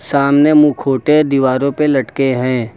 सामने मुखोटे दीवारों पे लटके हैं।